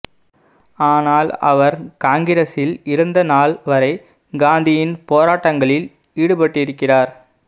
ஆனல் அவர் காங்கிரஸில் இருந்த நாள் வரை காந்தியின் போராட்டங்களில் ஈடுபட்டிருக்கிறார்